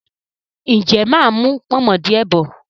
ǹjẹ́ mà á mú “pọ̀nmọ́” díẹ̀ bọ̀?